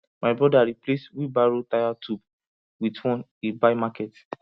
my brother replace wheelbarrow tyre tube with one he buy market